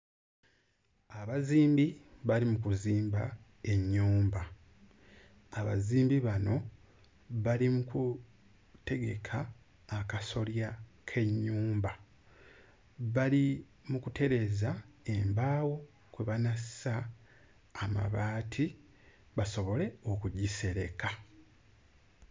Abazimbi bali mu kuzimba ennyumba, abazimbi bano bali mu kutegeka akasolya k'ennyumba, bali mu kutereeza embaawo kwe banassa amabaati basobole okugisereka